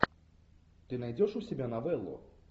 ты найдешь у себя новеллу